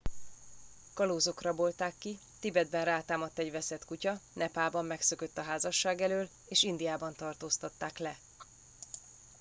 kalózok rabolták ki tibetben rátámadt egy veszett kutya nepálban megszökött a házasság elől és indiában tartóztatták le